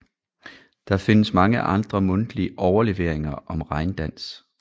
Der findes mange andre mundtlige overleveringer om regndans